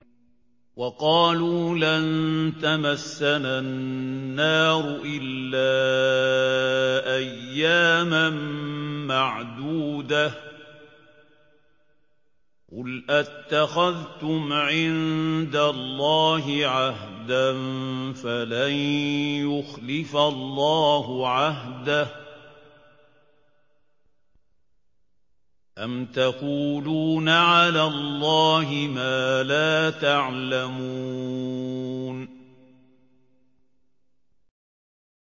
وَقَالُوا لَن تَمَسَّنَا النَّارُ إِلَّا أَيَّامًا مَّعْدُودَةً ۚ قُلْ أَتَّخَذْتُمْ عِندَ اللَّهِ عَهْدًا فَلَن يُخْلِفَ اللَّهُ عَهْدَهُ ۖ أَمْ تَقُولُونَ عَلَى اللَّهِ مَا لَا تَعْلَمُونَ